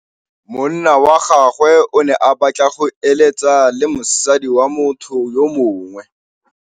Monna wa gagwe o ne a batla go êlêtsa le mosadi wa motho yo mongwe.